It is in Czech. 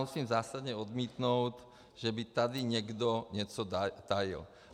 Musím zásadně odmítnout, že by tady někdo něco tajil.